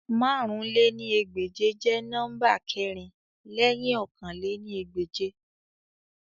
Màrún lé ní ẹgbẹ́je jẹ nọmba kẹrin lẹhin ọ̀kan lé ní ẹgbẹ́je